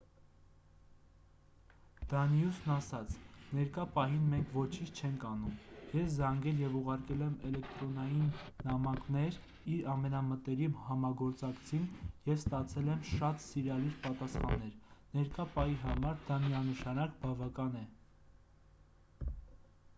դանիուսն ասաց ներկա պահին մենք ոչինչ չենք անում ես զանգել և ուղարկել եմ էլեկտրոնային նամակներ իր ամենամտերիմ համագործակցին և ստացել եմ շատ սիրալիր պատասխաններ ներկա պահի համար դա միանշանակ բավական է